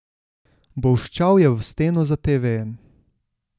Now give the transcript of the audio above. Bolščal je v steno za tevejem.